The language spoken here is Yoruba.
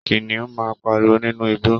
Kìnìún máa n páríwó nínú igbó